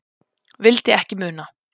Vildi ekki muna.